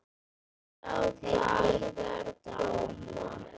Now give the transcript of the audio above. Sjá dagar koma